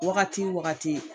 Wagati wagati